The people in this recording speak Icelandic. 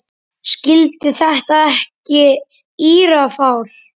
Skildi ekki þetta írafár.